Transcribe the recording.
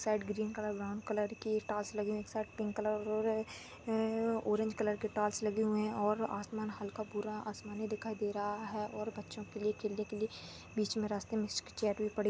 शायद green colour brown colour के टास लगे हुए है सायद पिंक कलर ऑरेंज कलर के टास लगे हुए है और आसमान हल्का पूरा आसमानी दिखाई दे रहा है और बच्चो के लिए खेलने के लिए बीच मे रास्ते मे इसकी चेयर भी पड़ी--